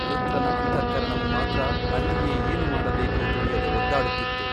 ವೃತ್ರನ ಅಂತಃಕರಣವು ಮಾತ್ರ ಅಲ್ಲಿಯೇ ಏನು ಮಾಡಬೇಕೋ ತಿಳಿಯದೆ ಒದ್ದಾಡುತ್ತಿತ್ತು.